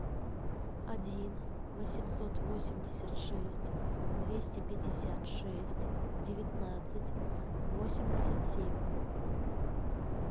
один восемьсот восемьдесят шесть двести пятьдесят шесть девятнадцать восемьдесят семь